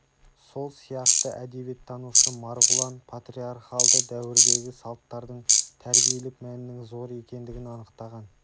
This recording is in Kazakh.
сол сияқты әдебиеттанушы марғұлан патриархалды дәуірдегі салттардың тәрбиелік мәнінің зор екендігін анықтаған